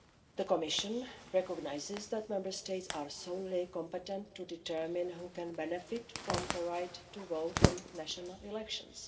The Commission recognises that Member States are solely competent to determine who can benefit from the right to vote in national elections.